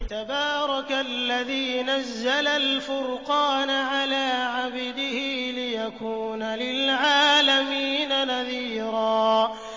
تَبَارَكَ الَّذِي نَزَّلَ الْفُرْقَانَ عَلَىٰ عَبْدِهِ لِيَكُونَ لِلْعَالَمِينَ نَذِيرًا